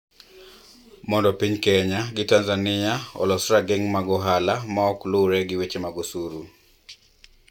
Mondo piny Kenya gi Tanzania olos rageng` mag ohala ma ok luwre gi weche mag osuru